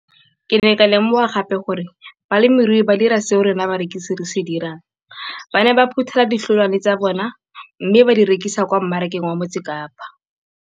Ke ne ka lemoga gape gore balemirui ba dira seo rona barekisi re se dirang - ba ne ba phuthela ditholwana tsa bona mme ba di rekisa kwa marakeng wa Motsekapa.